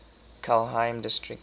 kelheim district